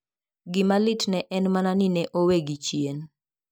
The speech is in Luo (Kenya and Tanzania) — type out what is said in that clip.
Gima litne en mana ni ne owegi chien.